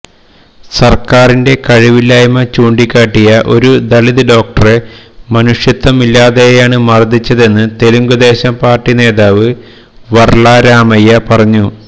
സര്ക്കാരിന്റെ കഴിവില്ലായ്മ ചൂണ്ടിക്കാട്ടിയ ഒരു ദളിത് ഡോക്ടറെ മനുഷത്വം ഇല്ലാതെയാണ് മര്ദ്ദിച്ചതെന്ന് തെലുങ്കുദേശം പാര്ട്ടി നേതാവ് വര്ല രാമയ്യ പറഞ്ഞു